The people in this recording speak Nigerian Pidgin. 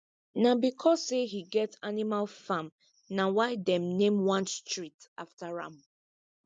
na because say he get animal farm na why them name one street after am